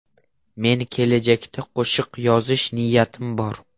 Men kelajakda qo‘shiq yozish niyatim bor.